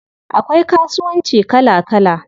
Akwai kasuwanci kala kala.